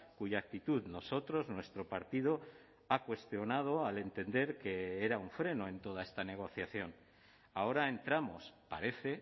cuya actitud nosotros nuestro partido ha cuestionado al entender que era un freno en toda esta negociación ahora entramos parece